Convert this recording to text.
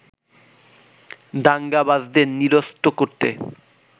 দাঙ্গাবাজদের নিরস্ত করতে